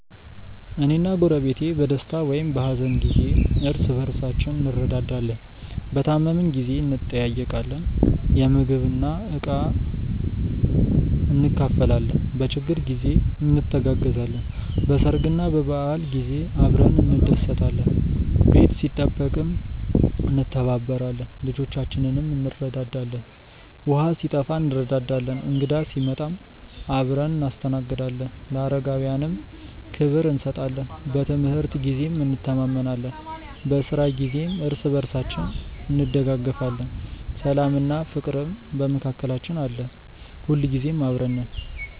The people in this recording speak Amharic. እኔና ጎረቤቴ በደስታም ሆነ በሀዘን ጊዜ እርስ በርሳችን እንረዳዳለን። በታመምን ጊዜ እንጠያየቃለን፣ ምግብና ዕቃ እንካፈላለን፣ በችግር ጊዜ እንተጋገዛለን፣ በሰርግና በበዓል ጊዜ አብረን እንደሰታለን። ቤት ሲጠበቅም እንተባበራለን፣ ልጆቻችንንም እንረዳዳለን። ውሃ ሲጠፋ እንረዳዳለን፣ እንግዳ ሲመጣም አብረን እናስተናግዳለን፣ ለአረጋውያንም ክብር እንሰጣለን። በትምህርት ጊዜም እንተማመናለን፣ በስራ ጊዜም እርስ በርስ እንደጋገፋለን። ሰላምና ፍቅርም በመካከላችን አለ። ሁልጊዜ አብረን ነን።።